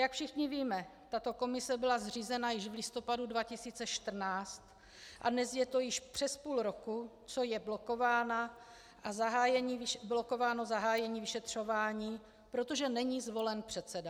Jak všichni víme, tato komise byla zřízena již v listopadu 2014 a dnes je to již přes půl roku, co je blokováno zahájení vyšetřování, protože není zvolen předseda.